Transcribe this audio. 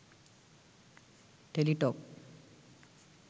Teletalk